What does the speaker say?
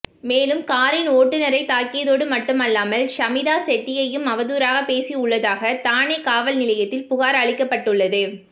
மேலும் காரின் ஓட்டுனரை தாக்கியதோடு மட்டுமல்லாமல் ஷமிதா ஷெட்டியையும் அவதூறாக பேசியுள்ளதாக தானே காவல் நிலையத்தில் புகார் அளிக்கப்பட்டுள்ளது